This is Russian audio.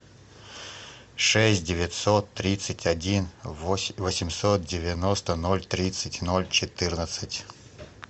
шесть девятьсот тридцать один восемьсот девяносто ноль тридцать ноль четырнадцать